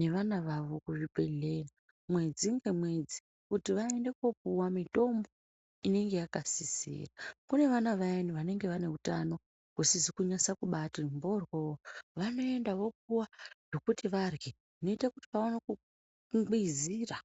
nevana vavo kuzvibhedhlera mwedzi ngemwedzi , kuti vaende kopuwa mitombo inenge yakasisira , kune vana vaya vanenge vanenge hutano husizi kunase kubati mboryo vanoenda vopuwa zvikuti varye zvinoita kuti vaone kungwizira .